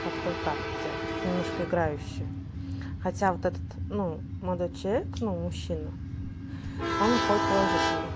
как-то так у тебя немножко играюще хотя вот этот ну молодой человек ну мужчина он выходит положительный